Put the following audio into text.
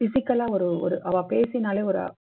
physical லா ஒரு அவா பேசினாலே ஒரு